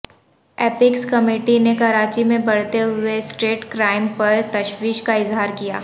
apex committee نے کراچی میں بڑھتے ہوئے سٹریٹ کرائم پر تشویش کا اظہار کیا